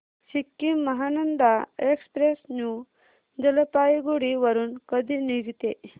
Sikkim Mahananda express new Jalpaiguri वरून कधी निघते